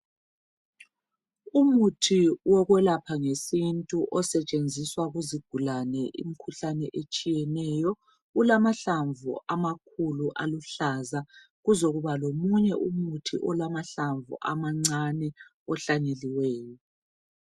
Umuthi wokwelapha ngesintu osetshenziswa kuzigulane imkhuhlane etshiyeneyo .Ulamahlamvu amakhulu aluhlaza ,kuzokuba lomunye umuthi olamahlamvu amancane ohlanyeliweyo .